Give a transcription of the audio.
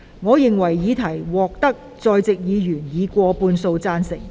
我認為議題獲得在席議員以過半數贊成。